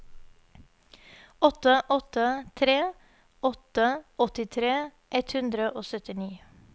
åtte åtte tre åtte åttitre ett hundre og syttini